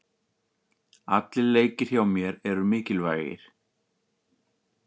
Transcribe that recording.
Allir leikir hjá mér eru mikilvægir.